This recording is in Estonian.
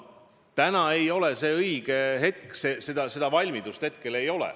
Täna ei ole õige aeg, seda valmidust hetkel ei ole.